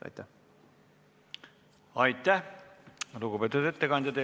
Aitäh, lugupeetud ettekandja!